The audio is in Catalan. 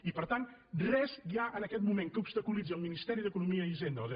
i per tant res hi ha en aquest moment que obstaculitzi el ministeri d’economia i hisenda o de